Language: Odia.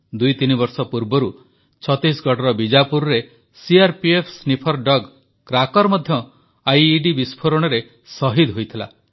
ଦୁଇତିନି ବର୍ଷ ପୂର୍ବରୁ ଛତିଶଗଡ଼ର ବିଜାପୁରରେ ସିଆର୍ପିଏଫ୍ ସ୍ନିଫର କୁକୁର ମଧ୍ୟ ଆଇଇଡି ବିସ୍ଫୋରଣରେ ସହିଦ ହୋଇଥିଲା